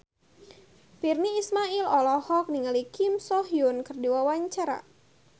Virnie Ismail olohok ningali Kim So Hyun keur diwawancara